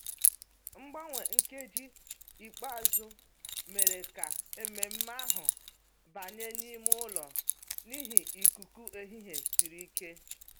Mgbanwe nkeji ikpeazụ mere ka ememe ahụ banye n'ime ụlọ n'ihi ikuku ehihie siri ike